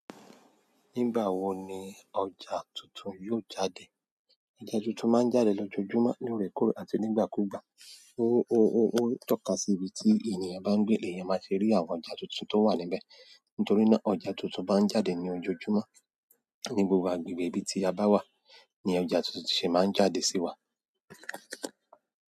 Nígbà wo ni ọjà tuntun yóò jáde? Ọjà tuntun máa ń jáde lójoojúmọ́ ní òòrèkóòrè àti nígbàkúùgbà. Ó ń tọ́ka sí ibi tí ènìyàn bá ń gbé èèyàn má ṣe rí àwọn ọjà tuntun tó wà níbẹ̀. Nítorí náà ọjà tuntun bá ń jáde ní ojoojúmọ́ ní gbogbo agbègbè ibi tí a bá wà, ni ọjà tuntun ṣe máa ń jáde sí wa.